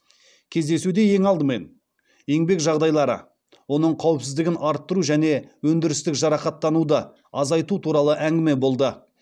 кездесуде ең алдымен еңбек жағдайлары оның қауіпсіздігін арттыру және өндірістік жарақаттануды азайту туралы әңгіме болды